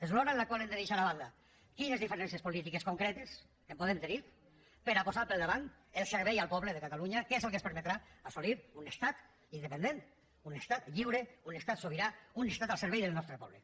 és l’hora en la qual hem de deixar a banda quines diferències polítiques concretes podem tenir per a posar per davant el servei al poble de catalunya que és el que ens permetrà assolir un estat independent un estat lliure un estat sobirà un estat al servei del nostre poble